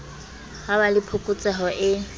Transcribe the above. ha ba le phokotseho e